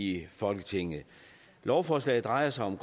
i folketinget lovforslaget drejer sig om